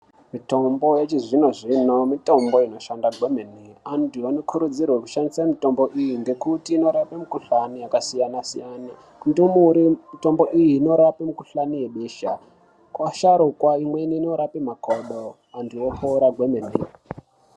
Mutombo yechizvino zvino mitombo inoshanda kwemene. Anoti antu anokurudzirwa kushandisa mitombo iyi inorape mukhohlane yakasiyana siyana. Kundumure mutombo iyi inorape besha. Kuvasharukwa ikweni inorape makodo antu voporwa kwemene.